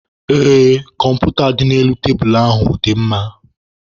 Ee, kọmputa dị n'elu tebulu ahụ dị mma.